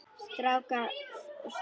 Strákur og stelpa.